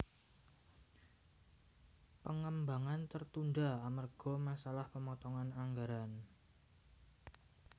Pengembangan tertunda amerga masalah pemotongan anggaran